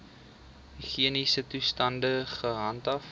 higiëniese toestande gehandhaaf